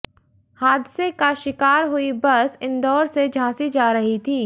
हादसे का शिकार हुई बस इंदौर से झांसी जा रही थी